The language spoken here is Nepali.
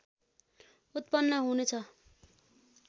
उत्पन्न हुने छ